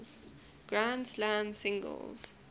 grand slam singles